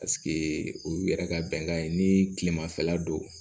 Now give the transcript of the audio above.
o y'u yɛrɛ ka bɛnkan ye ni kilemafɛla don